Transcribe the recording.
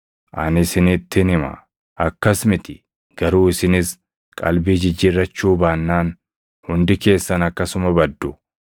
Ani isinittin hima; akkas miti; garuu isinis qalbii jijjiirrachuu baannaan hundi keessan akkasuma baddu.